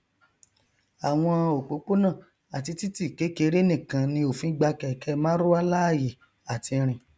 àwọn òpópónà àti títì kékeré nìkan ni òfin gba kẹkẹ marwa láàyè àti rìn